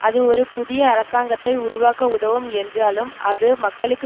அது ஒரு புதிய அரசாங்கத்தை உருவாக்க உதவும் என்றாலும் அது மக்களுக்கு